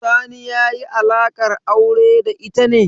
Sani ya yi alaƙar aure da ita ne?